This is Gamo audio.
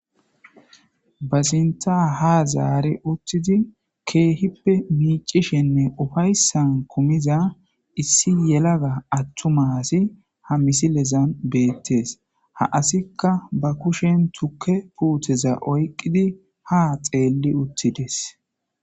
ba sinta ha zaare uttidi keehippe miicishenne ufayssan kumiza issi yelaga attu masi ha misilezan beettees ha asikka ba kushen tukke puuteza oyqqidi ha xeelli uttides